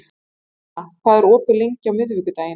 Indiana, hvað er opið lengi á miðvikudaginn?